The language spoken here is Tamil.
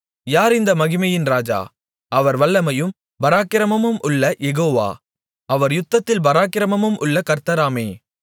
யார் இந்த மகிமையின் இராஜா அவர் வல்லமையும் பராக்கிரமமும் உள்ள யெகோவா அவர் யுத்தத்தில் பராக்கிரமமும் உள்ள கர்த்தராமே